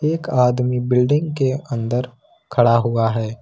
एक आदमी बिल्डिंग के अंदर खड़ा हुआ है।